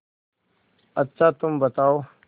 अच्छा तुम बताओ